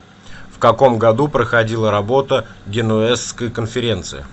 в каком году проходила работа генуэзской конференции